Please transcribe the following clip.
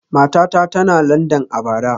Matata tana Landan a bara